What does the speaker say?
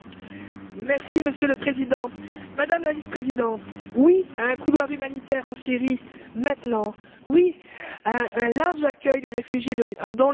Monsieur le Président, Madame la Vice présidente, je dis oui à un couloir humanitaire en Syrie maintenant, oui à un large accueil des réfugiés dans l'Union européenne.